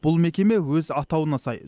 бұл мекеме өз атауына сай